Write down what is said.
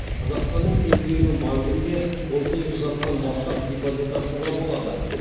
қазақстанның кез келген банкінде он сегіз жастан бастап депозит ашуға болады